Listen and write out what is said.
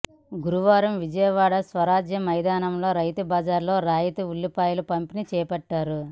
గురువారం విజయవాడ స్వరాజ్య మైదానంలోని రైతుబజార్లో రాయితీ ఉల్లిపాయల పంపిణీ చేపట్టారు